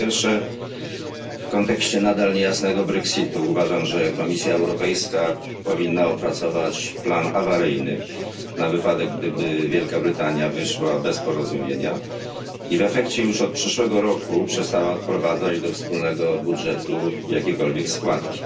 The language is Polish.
Po pierwsze, w kontekście nadal niejasnego brexitu uważam, że Komisja Europejska powinna opracować plan awaryjny, na wypadek gdyby Wielka Brytania wyszła bez porozumienia i w efekcie już od przyszłego roku przestała odprowadzać do wspólnego budżetu jakiekolwiek składki.